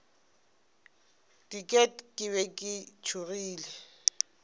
diket ke be ke tšhogile